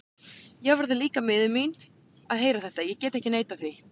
Ég varð líka miður mín að heyra þetta, ég get ekki neitað því.